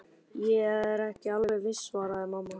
Ég er ekki alveg viss svaraði mamma.